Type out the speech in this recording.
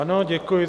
Ano, děkuji.